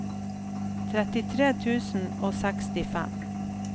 trettitre tusen og sekstifem